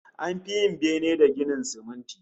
An fi yin bene da ginin siminti